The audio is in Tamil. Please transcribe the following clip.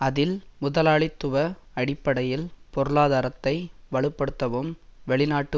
அதில் முதலாளித்துவ அடிப்படையில் பொருளாதாரத்தை வலு படுத்தவும் வெளிநாட்டு